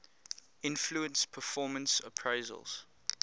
influence performance appraisals